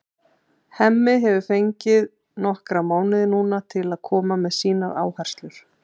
Hemmi hefur fengið nokkra mánuði núna til að koma með sínar áherslur.